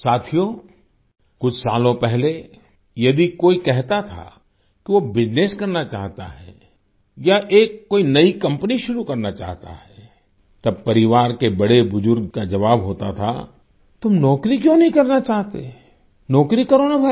साथियो कुछ सालों पहले यदि कोई कहता था कि वो बिजनेस करना चाहता है या एक कोई नई कंपनी शुरू करना चाहता है तब परिवार के बड़ेबुजुर्ग का जवाब होता था कि तुम नौकरी क्यों नहीं करना चाहते नौकरी करो ना भाई